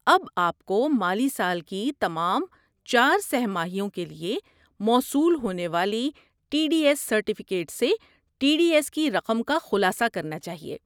اب آپ کو مالی سال کی تمام چار سہ ماہیوں کے لیے موصول ہونے والے ٹی ڈی ایس سرٹیفکیٹ سے ٹی ڈی ایس کی رقم کا خلاصہ کرنا چاہیے